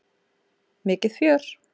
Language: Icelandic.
Mikið fjör!